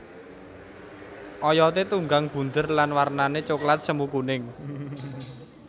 Oyoté tunggang bunder lan warnané coklat semu kuning